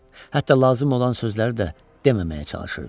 Hətta lazım olan sözləri də deməməyə çalışırdı.